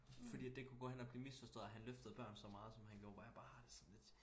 Fordi at et kunne gå hen og blive misforstået at han løftede børn så meget som han gjorde hvor jeg bare har det sådan lidt